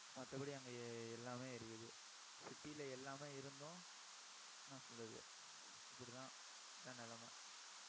மத்தபடி, அங்க எ~ எல்லாமே இருக்குது city ல எல்லாமே இருந்தும் என்ன சொல்றது இப்படிதான் இதான் நிலைமை